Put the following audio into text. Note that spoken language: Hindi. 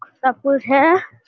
सब कुछ है।